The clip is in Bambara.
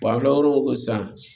an kilayɔrɔ o san